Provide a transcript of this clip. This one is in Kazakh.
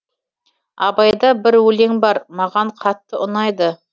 абайда бір өлең бар маған қатты ұнайды